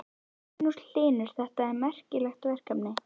Magnús Hlynur: Þetta er merkilegt verkefni?